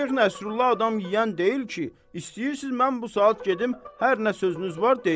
Şeyx Nəsrullah adam yeyən deyil ki, istəyirsiniz mən bu saat gedim, hər nə sözünüz var deyim.